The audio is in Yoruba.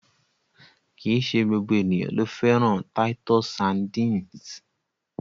Kìí ṣe gbogbo ènìyàn ló fẹ́ràn titus sardines.